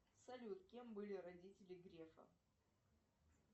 салют кем были родители грефа